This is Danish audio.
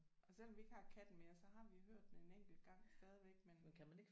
Og selvom vi ikke har katten mere så har vi hørt den en enkelt gang stadigvæk men